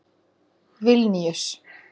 Vilníus